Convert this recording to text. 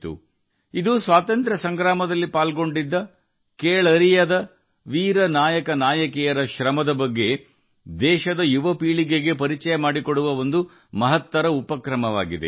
ದೇಶದ ಯುವ ಪೀಳಿಗೆಗೆ ಸ್ವಾತಂತ್ರ್ಯ ಚಳವಳಿಯಲ್ಲಿ ಭಾಗವಹಿಸಿದ ಅಪ್ರತಿಮ ವೀರ ಮತ್ತು ನಾಯಕಿಯರ ಶ್ರಮವನ್ನು ಪರಿಚಯಿಸಲು ಇದು ಉತ್ತಮ ಉಪಕ್ರಮವಾಗಿದೆ